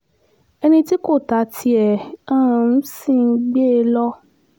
ẹni tí kò ta tiẹ̀ um ṣì ń gbé e lọ